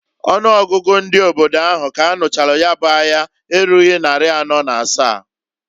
Ọnụ ọgụgụ ndị obodo ahụ k'anụchalụ ya bụ aya erughi nnarị anọọ na asa.